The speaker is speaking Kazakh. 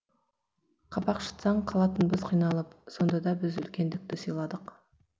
қабақ шытсаң қалатынбыз қиналып сонда да біз үлкендікті сыйладық